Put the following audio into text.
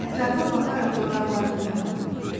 Və ətrafa baxaraq da dodaqlarını yaladı.